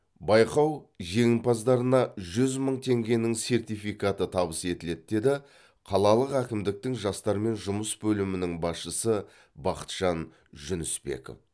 байқау жеңімпаздарына жүз мың теңгенің сертификаты табыс етіледі деді қалалық әкімдіктің жастармен жұмыс бөлімінің басшысы бақытжан жүнісбеков